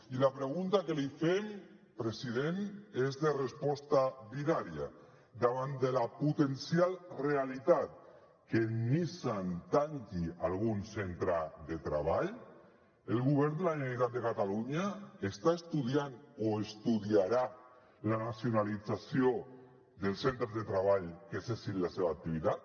i la pregunta que li fem president és de resposta binària davant de la potencial realitat que nissan tanqui algun centre de treball el govern de la generalitat de catalunya està estudiant o estudiarà la nacionalització dels centres de treball que cessin la seva activitat